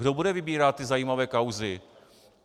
Kdo bude vybírat ty zajímavé kauzy?